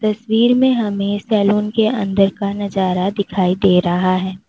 तस्वीर में हमें सैलून के अंदर का नजारा दिखाई दे रहा है।